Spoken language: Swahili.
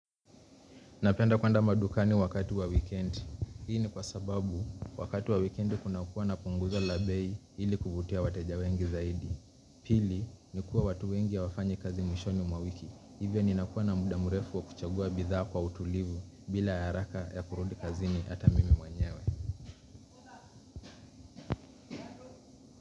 Napenda kuenda madukani wakati wa wikendi. Hii ni kwa sababu wakati wa wikendi kunakuwa na punguzo la bei ili kuvutia wateja wengi zaidi. Pili ni kuwa watu wengi hawafanyi kazi mwishoni mwa wiki. Hivyo ninakuwa na muda mrefu wa kuchagua bidhaa kwa utulivu bila ya haraka ya kurudi kazi ni hata mimi mwenyewe.